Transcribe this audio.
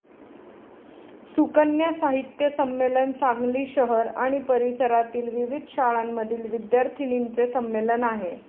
सुकन्या साहित्य संमेलन सांगली शहर आणि परिसरातील विविध शाळांमधील विद्यार्थिनींचे संमेलन आहे.